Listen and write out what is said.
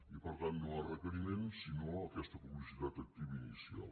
i per tant no a requeriment sinó aquesta publicitat activa inicial